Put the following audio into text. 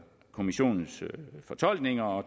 kommissionens fortolkninger og